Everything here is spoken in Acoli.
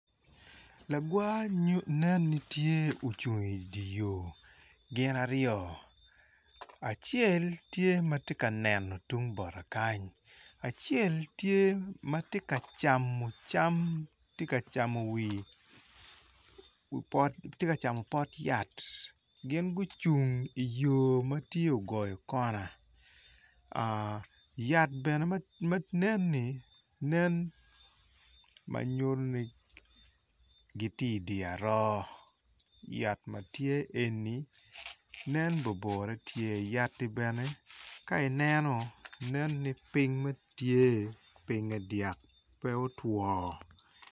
Lagwa ne ni tye ocung iyo gin aryo acel tye ma tye ka neno tung bota kany acel tye ma tye ka camo cam tye ka camo wi pot yat gin gucung iyo tye ogoyo kona yat bene ma neni nen ma nyuto ni gitye idi aroo yat ma tye eni nen bobore tye yatti bene ka ineno nen i piny ma tye pinye dyak pe otwo.